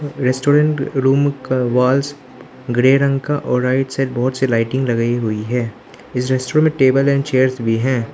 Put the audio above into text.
Restaurant room का walls grey रंग का और राइट साइड बहुत सी लाइटिंग लगाई हुई है इस रेस्टोरेंट में टेबल एंड चेयर्स भी हैं।